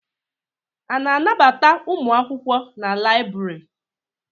A na-anabata ụmụ akwụkwọ na láyịbụrị?